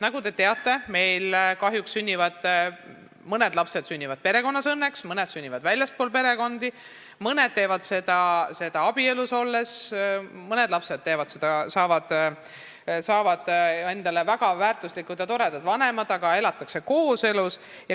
Nagu te teate, mõned lapsed sünnivad meil õnneks perekonda, mõned sünnivad väljaspool perekonda, mõned vanemad saavad lapsi abielus olles ja mõned lapsed saavad endale väga väärtuslikud ja toredad vanemad, kes on kooselus.